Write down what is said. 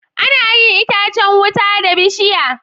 Anayin itacan wuta da bishiya